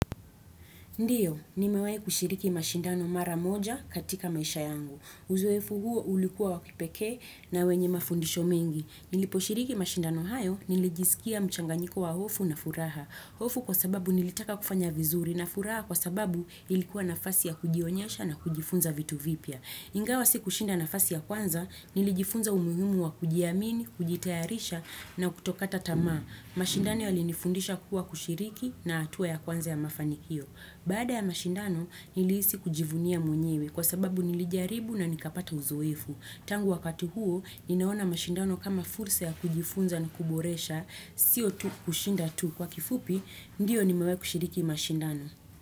Ndiyo, nimewai kushiriki mashindano mara moja katika maisha yangu. Uzoefu huo ulikuwa wa kipekee na wenye mafundisho mengi. Nilipo shiriki mashindano hayo, nilijisikia mchanganyiko wa hofu na furaha. Hofu kwa sababu nilitaka kufanya vizuri na furaha kwa sababu ilikuwa nafasi ya kujionyesha na kujifunza vitu vipya. Ingawa si kushinda nafasi ya kwanza, nilijifunza umuhimu wa kujiamini, kujitayarisha na kutokata tama. Mashindani yalinifundisha kuwa kushiriki na hatua ya kwanza ya mafanikio. Baada ya mashindano nilihisi kujivunia mwenyewe kwa sababu nilijaribu na nikapata uzoefu. Tangu wakati huo ninaona mashindano kama fulsa ya kujifunza na kuboresha, siyo tu kushinda tu kwa kifupi, ndiyo nimewai kushiriki mashindano.